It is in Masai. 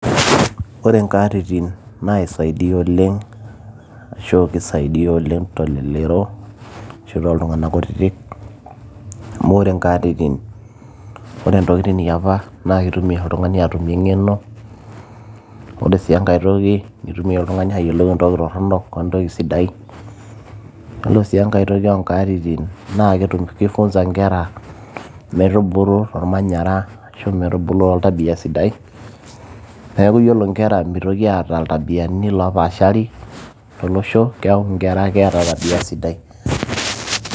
ore nkaatitin naisaidia oleng ashu kisaidiyia oleng telelero ashu tooltung'anak kutitik amu ore nkaatitin ore ntokitin iapa naa kitumia oltung'ani atumie eng'eno ore sii enkay toki nitumia oltung'ani ayiolou entoki torronok wentoki sidai yiolo sii enkay toki onkatitin naa kifunza inkera metubulu tolmanyara ashu metubulu toltabia sidai neeku yiolo inkera mitoki aata iltabiani loopashari tolosho keeku inkera keeta tabia sidai.